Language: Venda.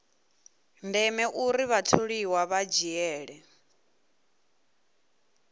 ndeme uri vhatholiwa vha dzhiele